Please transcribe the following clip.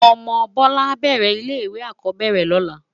Òmò Bola á bèrè ilé iwé ákòóbèrè lòlá